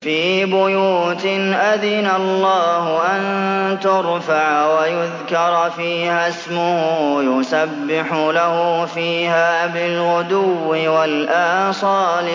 فِي بُيُوتٍ أَذِنَ اللَّهُ أَن تُرْفَعَ وَيُذْكَرَ فِيهَا اسْمُهُ يُسَبِّحُ لَهُ فِيهَا بِالْغُدُوِّ وَالْآصَالِ